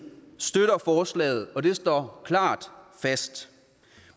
støtter forslaget og det står fast